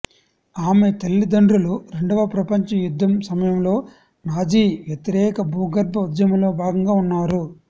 ఆమె తల్లిదండ్రులు రెండవ ప్రపంచ యుద్ధం సమయంలో నాజీ వ్యతిరేక భూగర్భ ఉద్యమంలో భాగంగా ఉన్నారు